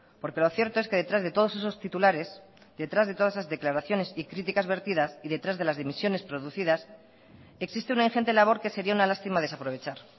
porque lo cierto es que detrás de todos esos titulares detrás de todas esas declaraciones y críticas vertidas y detrás de las dimisiones producidas existe una ingente labor que sería una lástima desaprovechar